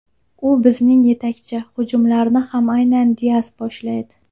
U bizning yetakchi, hujumlarni ham aynan Dias boshlaydi.